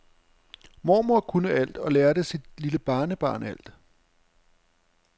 Mormor kunne alt og lærte sit lille barnebarn alt.